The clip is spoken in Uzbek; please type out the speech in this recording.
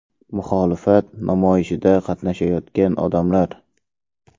Muxolifat namoyishida qatnashayotgan odamlar.